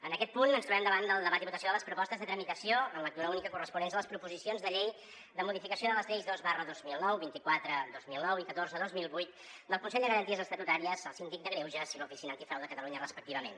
en aquest punt ens trobem davant del debat i votació de les propostes de tramitació en lectura única corresponents a les proposicions de llei de modificació de les lleis dos dos mil nou vint quatre dos mil nou i catorze dos mil vuit del consell de garanties estatutàries el síndic de greuges i l’oficina anti frau de catalunya respectivament